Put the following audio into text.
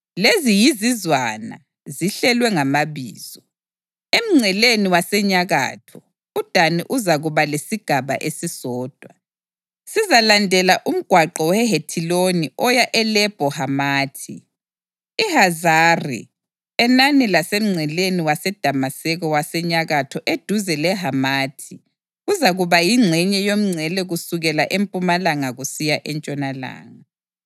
“Lezi yizizwana, zihlelwe ngamabizo: Emngceleni wasenyakatho, uDani uzakuba lesigaba esisodwa; sizalandela umgwaqo weHethiloni oya eLebho Hamathi; iHazari-Enani lasemngceleni weDamaseko wasenyakatho eduze leHamathi kuzakuba yingxenye yomngcele kusukela empumalanga kusiya entshonalanga.